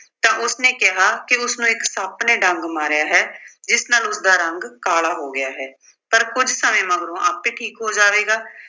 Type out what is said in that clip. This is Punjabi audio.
ਤਾਂ ਉਸਨੇ ਕਿਹਾ ਕਿ ਉਸਨੂੰ ਇੱਕ ਸੱਪ ਨੇ ਡੰਗ ਮਾਰਿਆ ਹੈ ਜਿਸ ਨਾਲ ਉਸਦਾ ਰੰਗ ਕਾਲਾ ਹੋ ਗਿਆ ਹੈ। ਪਰ ਕੁੱਝ ਸਮੇਂ ਮਗਰੋਂ ਆਪੇ ਠੀਕ ਹੋ ਜਾਵੇਗਾ।